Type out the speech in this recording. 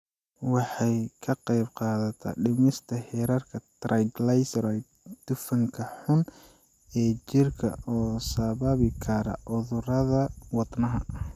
Waxay ka qaybqaadataa dhimista heerarka triglycerides, dufanka xun ee jirka oo sababi kara cudurrada wadnaha.